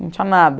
Não tinha nada.